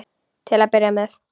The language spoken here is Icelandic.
Til að byrja með.